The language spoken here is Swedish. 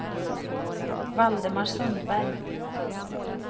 Valdemar Sundberg